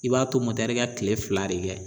I b'a to ka kile fila de kɛ